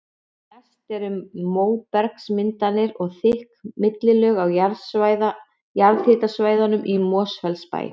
Mest er um móbergsmyndanir og þykk millilög á jarðhitasvæðunum í Mosfellsbæ.